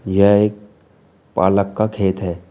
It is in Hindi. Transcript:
यह एक पालक का खेत है।